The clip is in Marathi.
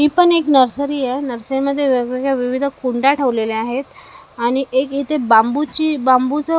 हि पण एक नर्सरी आहे नर्सरीमध्ये वेगवेगळ्या विविध कुंड्या ठेवलेल्या आहेत आणि एक इथे बाम्बूची बाम्बूचं अ ब--